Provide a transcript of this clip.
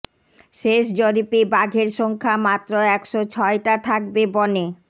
শেষ জরিপে বাঘের সংখ্যা মাত্র একশ ছয়টা থাকবে বনে